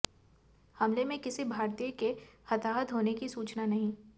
हमले में किसी भारतीय के हताहत होने की सूचना नहीं